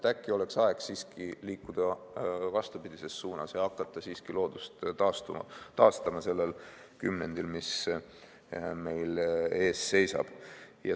Äkki oleks aeg siiski liikuda vastupidises suunas ja hakata loodust taastama sellel kümnendil, mis meil ees seisab.